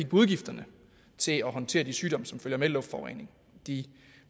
på udgifterne til at håndtere de sygdomme som følger med luftforureningen og de